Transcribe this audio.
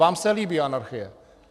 Vám se líbí anarchie.